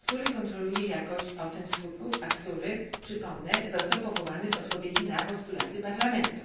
kontroluje jakość ocen skutków, a który, przypomnę, został powołany w odpowiedzi na postulaty Parlamentu.